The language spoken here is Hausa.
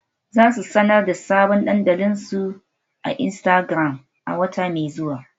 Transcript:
Za su sanar da sabon dandalin su a Instagram a wata mai zuwa.